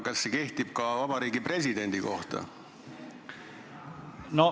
Kas see kehtib ka presidendi kohta?